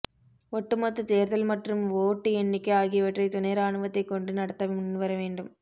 ஒட்டு மொத்த தேர்தல் மற்றும் ஓட்டு எண்ணிக்கை ஆகியவற்றை துணை ராணுவத்தைக் கொண்டு நடத்த முன்வர வேண்டும்